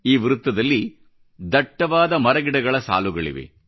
ಈ ವೃತ್ತದಲ್ಲಿ ದಟ್ಟವಾದ ಮರಗಿಡಗಳ ಸಾಲುಗಳಿವೆ